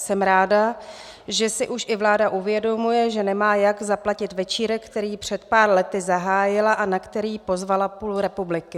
Jsem ráda, že si už i vláda uvědomuje, že nemá jak zaplatit večírek, který před pár lety zahájila a na který pozvala půl republiky.